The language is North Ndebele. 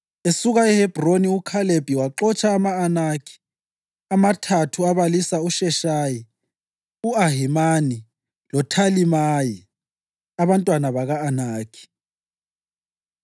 Esuka eHebhroni uKhalebi waxotsha ama-Anakhi amathathu abalisa uSheshayi, u-Ahimani loThalimayi abantwana baka-Anakhi.